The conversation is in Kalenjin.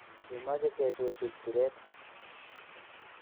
Kimache ke chuchuch siret